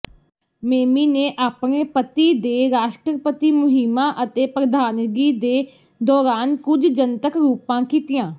Mamie ਨੇ ਆਪਣੇ ਪਤੀ ਦੇ ਰਾਸ਼ਟਰਪਤੀ ਮੁਹਿੰਮਾਂ ਅਤੇ ਪ੍ਰਧਾਨਗੀ ਦੇ ਦੌਰਾਨ ਕੁਝ ਜਨਤਕ ਰੂਪਾਂ ਕੀਤੀਆਂ